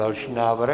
Další návrh.